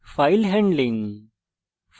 file handling